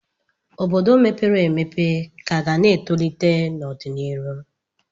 Obodo mepere emepe ka ga na-etolite n'ọdịnihu.